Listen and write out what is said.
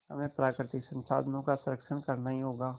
हमें प्राकृतिक संसाधनों का संरक्षण करना ही होगा